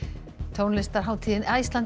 tónlistarhátíðin Iceland